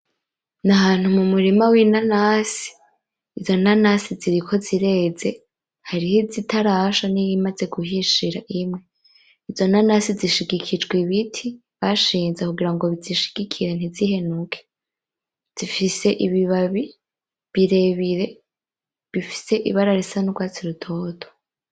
Nahantu mumurima w'inanasi, izo nanasi ziriko zireze, hariho izitarasha n'iyimaze guhishira imwe. Izo nanasi zishigikijwe ibiti bashinze kugira ngo bizishigikire ntizihenuke. Zifise ibibabi birebire bifise ibara isa nurwatsi rutoto.